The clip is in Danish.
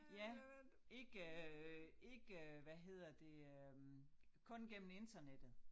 Ja ikke øh ikke hvad hedder det øh kun gennem internettet